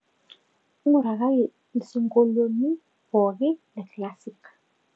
ng'urakaki ilsiongolioni pooki le classic